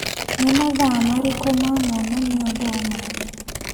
Nĩ mathaa marĩkũ ma monanio Bomathi?